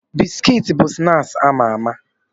Bisikiti bụ snaaksi ama ama.